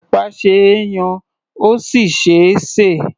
Ẹ̀pà ṣe é yan, ó sì ṣe é sè.